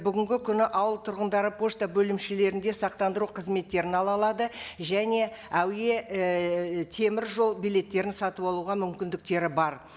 бүгінгі күні ауыл тұрғындары пошта бөлімшелерінде сақтандыру қызметтерін ала алады және әуе ііі теміржол билеттерін сатып алуға мүмкіндіктері бар